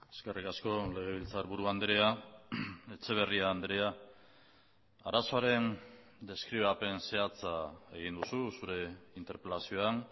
eskerrik asko legebiltzarburu andrea etxeberria andrea arazoaren deskribapen zehatza egin duzu zure interpelazioan